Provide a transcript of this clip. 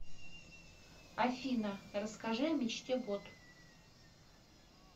афина расскажи о мечте бот